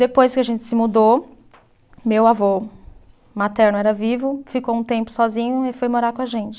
Depois que a gente se mudou, meu avô materno era vivo, ficou um tempo sozinho e foi morar com a gente.